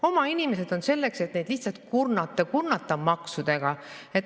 Oma inimesed on selleks, et neid lihtsalt kurnata, kurnata maksudega.